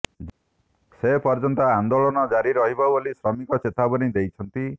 ସେ ପର୍ଯ୍ୟନ୍ତ ଆନେ୍ଦାଳନ ଜାରି ରହିବ ବୋଲି ଶ୍ରମିକ ଚେତାବନୀ ଦେଇଛନ୍ତି